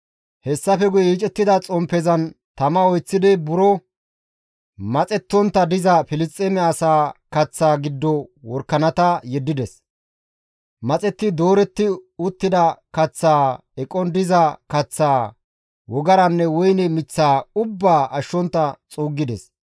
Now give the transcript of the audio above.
Hessafe guye yiicettida xomppezan tama oyththidi buro maxettontta diza Filisxeeme asaa kaththaa giddo worakanata yeddides; maxetti dooretti uttida kaththaa, eqon diza kaththaa, wogaranne woyne miththaa ubbaa ashshontta xuuggides.